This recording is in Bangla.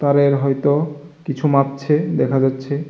তারের হয়তো কিছু মাপছে দেখা যাচ্ছে।